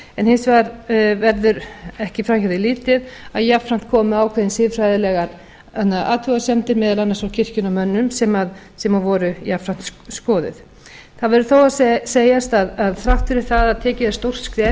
en hins vegar verður ekki fram hjá því litið að jafnframt komu ákveðnar siðfræðilegar athugasemdir meðal annars frá kirkjunnar mönnum sem voru jafnframt skoðuð það verður þó að segjast að þrátt fyrir það að tekið er stórt skref